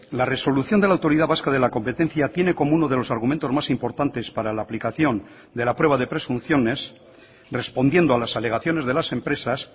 la resolución de la autoridad vasca de la competencia tiene como uno de los argumentos más importantes para la aplicación de la prueba de presunciones respondiendo a las alegaciones de las empresas